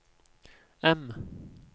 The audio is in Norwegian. M